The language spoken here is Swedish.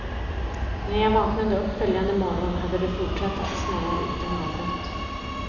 När jag vaknade upp följande morgon hade det fortsatt att snöa utan avbrott.